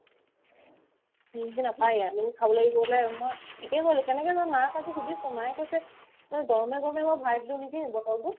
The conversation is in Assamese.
নিমকি নাপাই ইয়াত নিমকি খাব লাগিবলে মই শিকেই গ'লো কেনেকে জানো মাক আজি সুধিছো মায়ে কৈছে তই গৰমে গৰমে আকৌ ভৰাই দিলো নেকি বটলটোত